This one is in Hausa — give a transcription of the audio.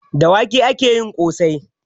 Da wake ake yin ƙosai